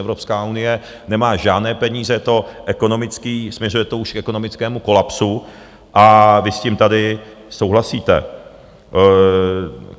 Evropská unie nemá žádné peníze, je to ekonomické, směřuje to už k ekonomickému kolapsu a vy s tím tady souhlasíte.